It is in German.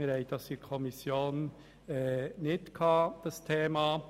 Wir haben dieses Thema in der Kommission nicht besprochen.